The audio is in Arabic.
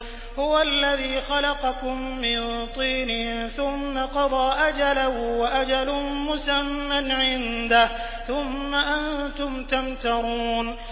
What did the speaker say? هُوَ الَّذِي خَلَقَكُم مِّن طِينٍ ثُمَّ قَضَىٰ أَجَلًا ۖ وَأَجَلٌ مُّسَمًّى عِندَهُ ۖ ثُمَّ أَنتُمْ تَمْتَرُونَ